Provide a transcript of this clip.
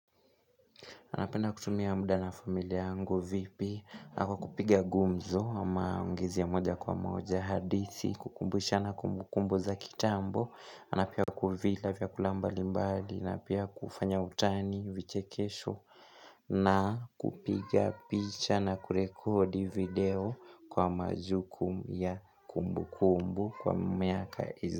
Napenda kutumia muda na familia yangu vipi? Na kwa kupiga gumzo, ama ungezi ya moja kwa moja, hadithi, kukumbushana kumbu kumbu za kitambo, na pia kuvila vyakula mbali mbali, na pia kufanya utani, vichekesho, na, kupiga picha na kurekodi video, kwa majuku ya kumbu kumbu kwa miaka iz.